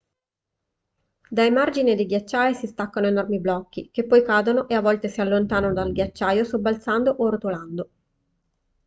dai margini dei ghiacciai si staccano enormi blocchi che poi cadono e a volte si allontanano dal ghiacciaio sobbalzando o rotolando